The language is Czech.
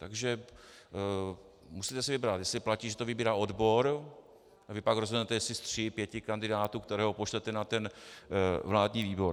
Takže musíte si vybrat, jestli platí, že to vybírá odbor a vy pak rozhodnete, jestli z tří, pěti kandidátů, kterého pošlete na ten vládní výbor.